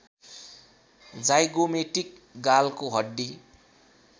zygomatic गालको हड्डी